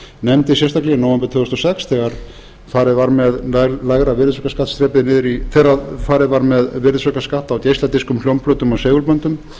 nefndi sérstaklega í nóvember tvö þúsund og sex þegar farið var með virðisaukaskatt á geisladiskum hljómplötum og segulböndum